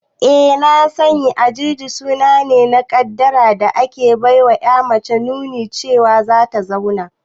Eh na sani, Ajuji suna ne na kaddara da ake baiwa ƴa mace nunin cewa zata zauna